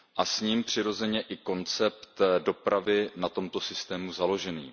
S ním přirozeně i koncept dopravy na tomto systému založený.